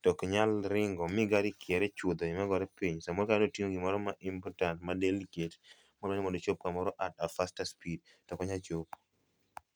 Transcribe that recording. to ok nyal ringo mi gari kier e chuodho magore piny. Samoro kata notingo gimoro ma important ma delicate koro odwaro mondo ochop kamoro at a faster speed, to ok nyal chopo